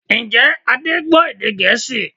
Ǹjẹ́ Adé gbọ́ èdè Gẹ̀ẹ́sì?